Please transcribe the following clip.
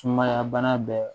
Sumaya bana bɛɛ